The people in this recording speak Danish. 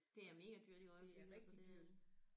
Det er mega dyrt i øjeblikket altså det